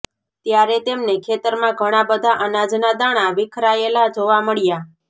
ત્યારે તેમને ખેતરમાં ઘણા બધા અનાજના દાણા વિખરાયેલા જોવા મળ્યા